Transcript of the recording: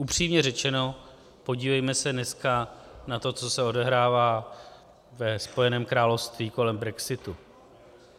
Upřímně řečeno, podívejme se dneska na to, co se odehrává ve Spojeném království kolem brexitu.